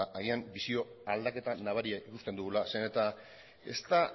ba agian bisio aldaketa nabaria ikusten dugula zeren eta ez da